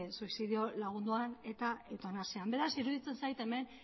suizidio lagunduan eta eutanasian beraz iruditzen zait hemen